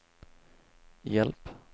hjälp